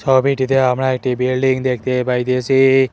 ছবিটিতে আমরা একটি বিল্ডিং দেখতে পাইতেসি।